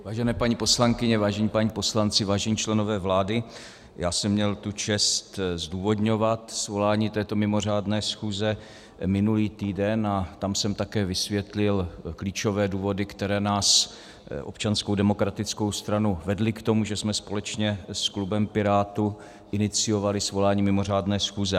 Vážené paní poslankyně, vážení páni poslanci, vážení členové vlády, já jsem měl tu čest zdůvodňovat svolání této mimořádné schůze minulý týden a tam jsem také vysvětlil klíčové důvody, které nás, Občanskou demokratickou stranu, vedly k tomu, že jsme společně s klubem Pirátů iniciovali svolání mimořádné schůze.